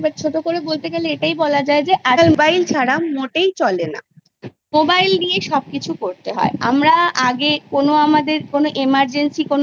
মৌলিক শিক্ষাটাও আমাদের জন্য খুব জরুরি কারণ শুধু পুঁথিগত শিক্ষা নিয়েই মানুষ বড়ো হয় সেরম নয় কারোর আচার ব্যবহার ভালো না হলে তাকে প্রকৃত শিক্ষিত বলা যায় না